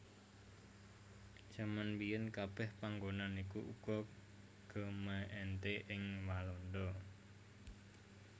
Jaman mbiyèn kabèh panggonan iku uga gemeente ing Walanda